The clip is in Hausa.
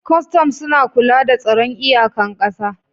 Kwastom suna kula da tsaron iyakan ƙasa